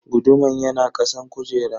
Guduman yana kasan kujera.